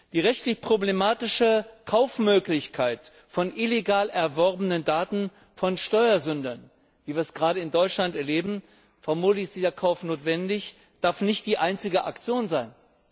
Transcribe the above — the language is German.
Die rechtlich problematische Möglichkeit des Kaufs illegal erworbener Daten von Steuersündern, wie wir es gerade in Deutschland erleben vermutlich ist dieser Kauf notwendig darf nicht die einzige Aktion sein!